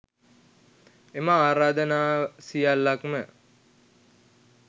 එම ආරාධනා සියල්ලක්ම